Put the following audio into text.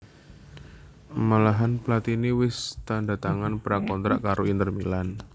Malahan Platini wis tandha tangan pra kontrak karo Inter Milan